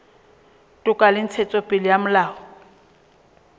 toka le ntshetsopele ya molao